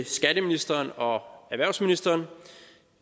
skatteministeren og erhvervsministeren